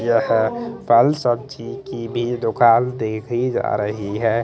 ये हैं फल सब्जी की भी दुकान देखी जा रही ह--